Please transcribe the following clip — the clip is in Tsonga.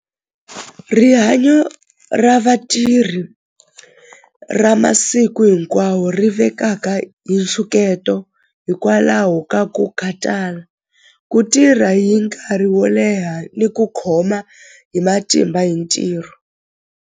Rihanyo ra vatirhi ra masiku hinkwawo ri vekaka hi nxungeto hikwalaho ka ku khatala ku tirha hi nkarhi wo leha ni ku khoma hi matimba hi ntirho.